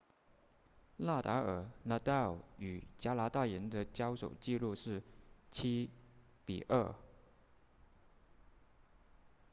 纳达尔 nadal 与加拿大人的交手记录是 7-2